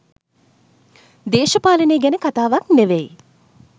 දේශපාලනය ගැන කතාවක් නෙමෙයි